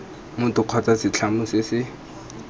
motho kgotsa setlamo se se